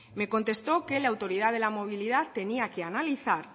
me contestó que la autoridad de la movilidad tenía que analizar